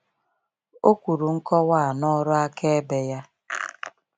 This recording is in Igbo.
O kwuru nkọwa a n’ọrụ akaebe ya.